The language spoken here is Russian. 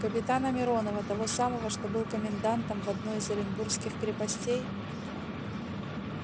капитана миронова того самого что был комендантом в одной из оренбургских крепостей